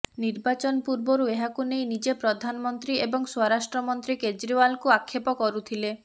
ନିର୍ବାଚନ ପୂର୍ବରୁ ଏହାକୁ ନେଇ ନିଜେ ପ୍ରଧାନମନ୍ତ୍ରୀ ଏବଂ ସ୍ୱରାଷ୍ଟ୍ର ମନ୍ତ୍ରୀ କେଜି୍ରୱାଲଙ୍କୁ ଆକ୍ଷେପ କରୁଥିଲେ